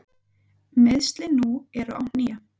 Meiðslin nú eru á hné.